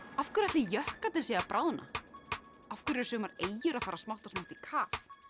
af hverju ætli jöklarnir séu að bráðna af hverju eru sumar eyjur að fara smátt og smátt í kaf